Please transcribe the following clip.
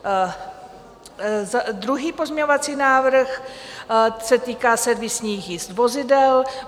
Druhý pozměňovací návrh se týká servisních jízd vozidel.